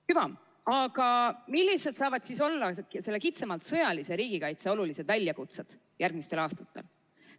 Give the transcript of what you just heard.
Hüva, aga millised saavad olla selle kitsamalt sõjalise riigikaitse olulised väljakutsed järgmistel aastatel?